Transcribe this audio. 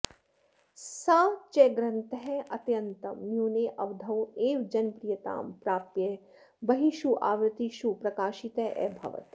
स च ग्रन्थः अत्यन्तं न्यूने अवधौ एव जनप्रियतां प्राप्य बह्वीषु आवृत्तीषु प्रकाशितः अभवत्